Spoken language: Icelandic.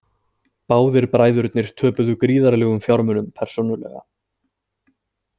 Báðir bræðurnir töpuðu gríðarlegum fjármunum persónulega